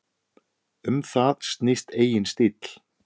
Um það snýst eigin stíll.